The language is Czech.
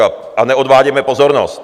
A neodvádějme pozornost.